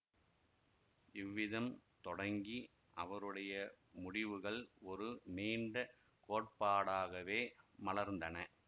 இவ்விதம் தொடங்கி அவருடைய முடிவுகள் ஒரு நீண்ட கோட்பாடாகவே மலர்ந்தன